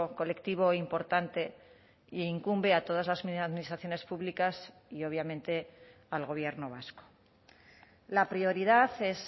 colectivo importante e incumbe a todas las administraciones públicas y obviamente al gobierno vasco la prioridad es